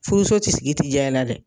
Furuso ti sigi ti ja i la dɛ